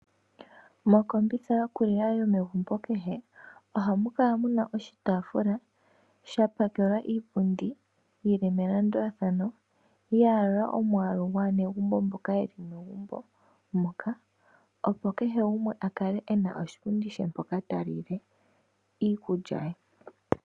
Mokombitha yokulila yomegumbo kehe ohamukala muna oshitaafula shapakelwa iipundi yili melandulathano yayalula omwaalu gwaanegumbo mboka yeli megumbo moka, opo kehe gumwe akale ena oshipundi she mpoka talile iikulya ye.